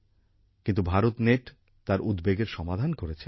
কিন্তু ভারতনেট তার উদ্বেগের সমাধান করেছে